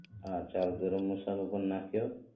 હા ચાલ ગરમ મસાલો પણ નાખ્યો